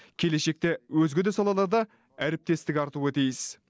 келешекте өзге де салаларда әріптестік артуы тиіс